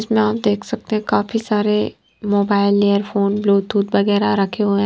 इसमें आप देख सकते हैं काफी सारे मोबाइल इयरफोन ब्लूटूथ वगैरा रखे हुए--